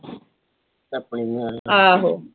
ਆਹੋ